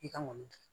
I ka mɔni